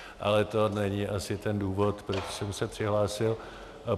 Ale to není asi ten důvod, proč jsem se přihlásil.